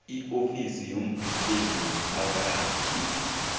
iofisi yomvikeli womphakathi